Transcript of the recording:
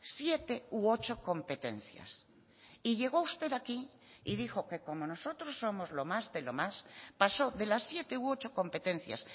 siete u ocho competencias y llegó usted aquí y dijo que como nosotros somos lo más de lo más pasó de las siete u ocho competencias